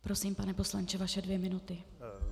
Prosím, pane poslanče, vaše dvě minuty.